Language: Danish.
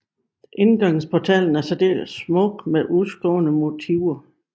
Indgangsportalen er særdeles smuk med udskårne motiver